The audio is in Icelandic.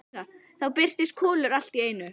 Þá birtist Kolur allt í einu.